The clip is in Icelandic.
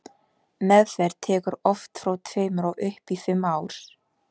meðferð tekur oft frá tveimur og upp í fimm ár